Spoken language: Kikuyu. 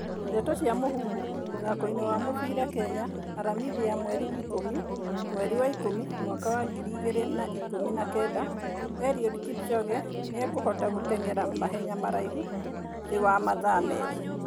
Ndeto cia Mũhuhu, mũthakoini wa mũbĩra Kenya, Aramithi ya mweri ikũmi, mweri wa ikũmi, mwaka wa ngiri igĩrĩ na ikumi na kenda Eliud Kipchoge nĩ ekũhota gũtengera mahenya maraihu thĩ wa mathaa merĩ